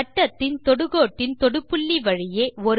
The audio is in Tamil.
வட்டத்தின் தொடு கோட்டின் தொடு புள்ளி வழியே